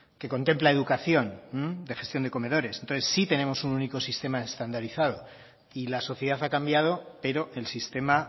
que contempla educación de gestión de comedores entonces sí tenemos un único sistema estandarizado y la sociedad ha cambiado pero el sistema